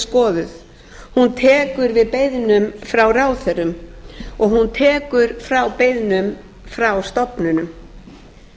skoðuð hún tekur við beiðnum frá ráðherrum og hún tekur við beiðnum frá stofnunum